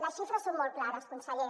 les xifres són molt clares conseller